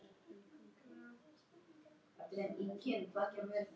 Sannarlega hafa tímarnir breyst.